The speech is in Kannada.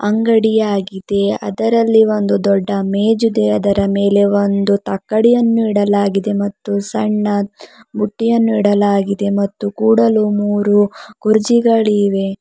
ಅಂಗಡಿಯಾಗಿದೆ ಅದರಲ್ಲಿ ಒಂದು ದೊಡ್ಡ ಮೇಜಿದೆ ಅದರ ಮೇಲೆ ಒಂದು ತಕ್ಕಡಿಯನ್ನು ಇಡಲಾಗಿದೆ ಮತ್ತು ಸಣ್ಣ ಬುಟ್ಟಿಯನ್ನು ಇಡಲಾಗಿದೆ ಮತ್ತು ಕೂಡಲು ಮೂರು ಕುರ್ಚಿಗಳಿವೆ.